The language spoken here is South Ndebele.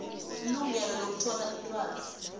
ilungelo lokuthola ilwazi